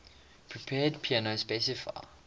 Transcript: prepared piano specify